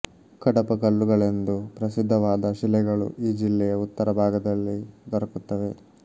ಕಡಪ ಕಲ್ಲುಗಳೆಂದು ಪ್ರಸಿದ್ಧವಾದ ಶಿಲೆಗಳು ಈ ಜಿಲ್ಲೆಯ ಉತ್ತರ ಭಾಗದಲ್ಲಿ ದೊರಕುತ್ತವೆ